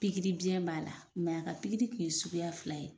Pikiri biyɛn b'a la, mɛ a ka pikiri tun ye suguya fila ye.